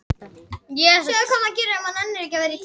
Urðu ófrískar þrátt fyrir getnaðarvörn